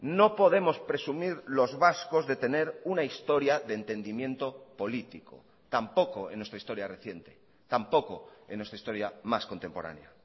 no podemos presumir los vascos de tener una historia de entendimiento político tampoco en nuestra historia reciente tampoco en nuestra historia más contemporánea